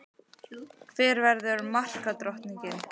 Hver verður markadrottning?